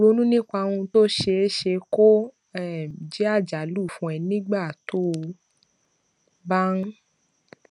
ronú nípa ohun tó ṣeé ṣe kó um jé àjálù fún ẹ nígbà tó o bá ń